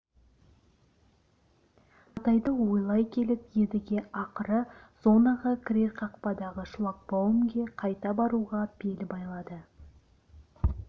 жағдайды ойлай келіп едіге ақыры зонаға кірер қақпадағы шлагбаумге қайта баруға бел байлады